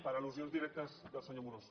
per al·lusions directes del senyor amorós